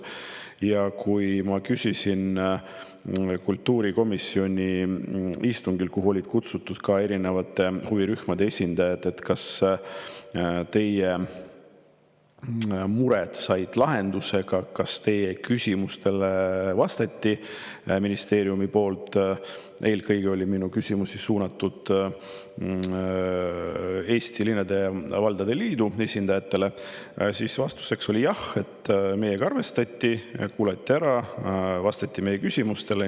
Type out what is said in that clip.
Ja kui ma küsisin kultuurikomisjoni istungil, kuhu olid kutsutud ka erinevate huvirühmade esindajad, kas nende mured said lahenduse, kas nende küsimustele vastati ministeeriumist – eelkõige oli minu küsimus suunatud Eesti Linnade ja Valdade Liidu esindajatele –, siis vastus oli: "Jah, meiega arvestati, kuulati ära, vastati meie küsimustele.